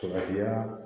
Faratiya